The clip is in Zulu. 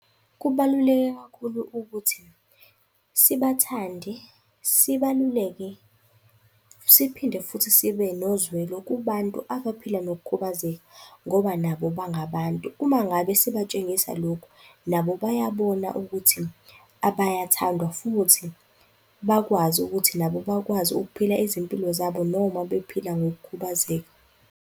Kubaluleke kakhulu ukuthi sibathande, sibaluleke, siphinde futhi sibe nozwelo kubantu abaphila nokukhubazeka ngoba nabo bangabantu. Uma ngabe sibatshengisa lokhu nabo bayabona ukuthi bayathandwa futhi bakwazi ukuthi nabo bakwazi ukuphila izimpilo zabo noma bephila ngokukhubazeka.